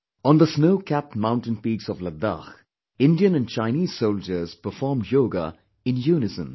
On the snow capped mountain peaks of Ladakh, Indian and Chinese soldiers performed yoga in unison